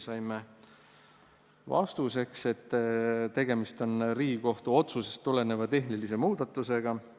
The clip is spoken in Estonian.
Saime vastuseks, et tegemist on Riigikohtu otsusest tuleneva tehnilise muudatusega.